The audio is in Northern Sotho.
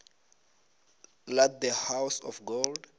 la the house of gold